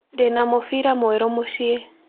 Ndĩ na mũbira mwerũ mũciĩ.